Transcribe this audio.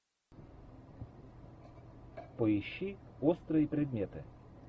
поищи острые предметы